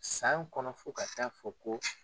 San kɔnɔ fo ka ta'a fɔ ko